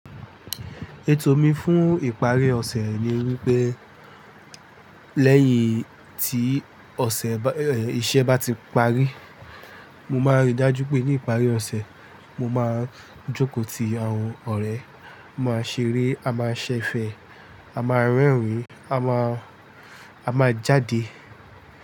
Ètò mi fún ìparí ọ̀sẹ̀ ni wípé lẹ́yìn tí ọ̀sẹ̀, iṣẹ́ bá ti parí, mo máa rí dájú pé ní ìparí ọ̀sẹ̀, mo máa jókòó ti àwọn ọ̀rẹ́, máa ṣeré, a máa ṣẹ̀fẹ̀, a máa rẹ́rìn-ín, a máa, a máa jáde.